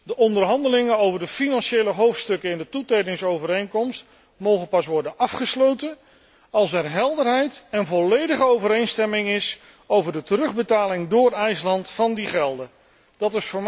De onderhandelingen over de financiële hoofdstukken in de toetredingsovereenkomst mogen pas worden afgesloten als er helderheid en volledige overeenstemming is over de terugbetaling van die gelden door IJsland.